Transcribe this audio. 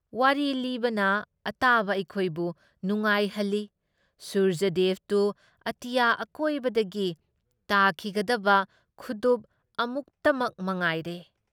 ꯋꯥꯔꯤ ꯂꯤꯕꯅ ꯑꯇꯥꯕ ꯑꯩꯈꯣꯏꯕꯨ ꯅꯨꯡꯉꯥꯏꯍꯜꯂꯤ ꯁꯨꯔꯖꯗꯦꯕꯗꯨ ꯑꯇꯤꯌꯥ ꯃꯀꯣꯏꯗꯒꯤ ꯇꯥꯈꯤꯒꯗꯕ ꯈꯨꯗꯨꯞ ꯑꯃꯨꯛꯇꯃꯛ ꯃꯉꯥꯏꯔꯦ ꯫